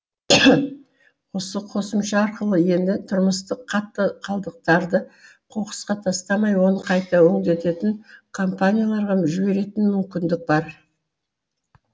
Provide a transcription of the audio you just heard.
осы қосымша арқылы енді тұрмыстық қатты қалдықтарды қоқысқа тастамай оны қайта өндіретін компанияларға жіберетін мүмкіндік бар